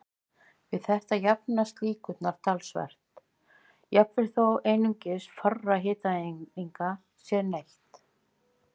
Við þetta lengjast lífslíkurnar talsvert, jafnvel þó einungis fárra hitaeininga sé neytt.